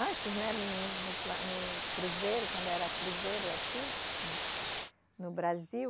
Antes, né, no pla, no cruzeiro, quando era cruzeiro aqui no Brasil,